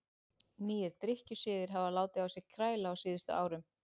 Nýir drykkjusiðir hafa látið á sér kræla á síðustu árum.